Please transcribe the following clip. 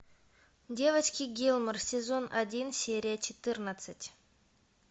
девочки гилмор сезон один серия четырнадцать